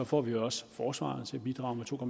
får vi også forsvaret til at bidrage med to